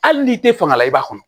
Hali n'i tɛ fanga la i b'a kɔnɔ